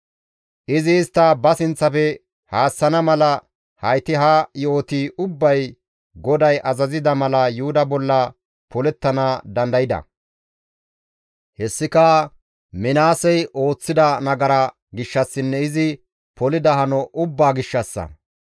Izi istta ba sinththafe haassana mala hayti ha yo7oti ubbay GODAY azazida mala Yuhuda bolla polettana dandayda; hessika Minaasey ooththida nagara gishshassinne izi polida hano ubbaa gishshassa;